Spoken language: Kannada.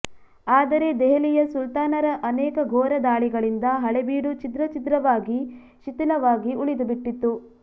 ಆದರೆ ದೆಹಲಿಯ ಸುಲ್ತಾನರ ಅನೇಕ ಘೋರ ದಾಳಿಗಳಿಂದ ಹಳೇಬೀಡು ಛಿದ್ರಛಿದ್ರವಾಗಿ ಶಿಥಿಲವಾಗಿ ಉಳಿದುಬಿಟ್ಟಿತ್ತು